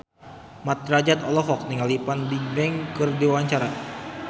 Mat Drajat olohok ningali Fan Bingbing keur diwawancara